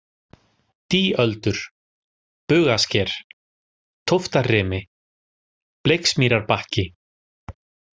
Dýöldur, Bugasker, Tóftarrimi, Bleiksmýrarbakki